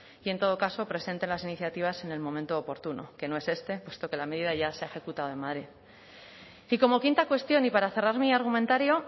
y en todo caso presenten las iniciativas en el momento oportuno que no es este puesto que la medida ya se ha ejecutado en madrid y como quinta cuestión y para cerrar mi argumentario